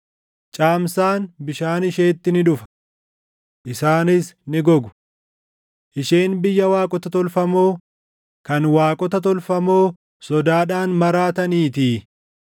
Caamsaan bishaan isheetti ni dhufa! Isaanis ni gogu. Isheen biyya waaqota tolfamoo, kan waaqota tolfamoo sodaadhaan maraataniitii.